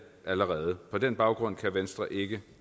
allerede på den baggrund kan venstre ikke